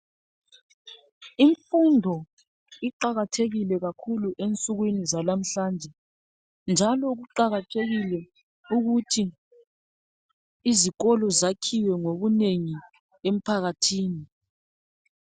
Imfundo iqakathekile kakhulu ensukwini zalamhlanje. Njalo kuqakathekile ukuthi izikolo zakhiwe ngobunengi emphakathini.